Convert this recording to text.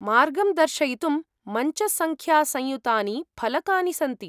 मार्गं दर्शयितुं मञ्चसङ्ख्यासंयुतानि फलकानि सन्ति ।